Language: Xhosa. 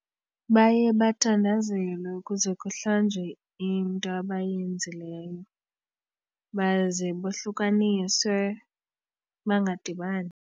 Baye bathandazelwe ukuze kuhlanjwe into abayenzileyo baze bohlukaniswe bangadibani.